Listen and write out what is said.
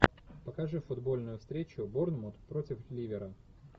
покажи футбольную встречу борнмут против ливера